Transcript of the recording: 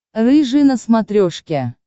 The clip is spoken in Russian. рыжий на смотрешке